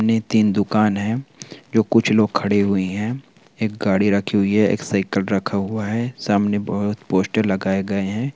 ने तीन दुकान है जो कुछ लोग खड़े हुये है। एक गाड़ी रखी हुई है एक साइकल रखा हुआ है। सामने बोहत पोस्टर लगाए गए हैं ।